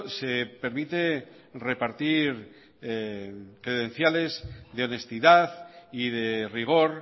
se permite repartir credenciales de honestidad y de rigor